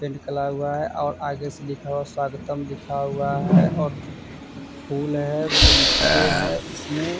Paint कला हुआ है और आगे से लिखा हुआ स्वागतम लिखा हुआ है और फूल है। बगीचे हैं। इसमें --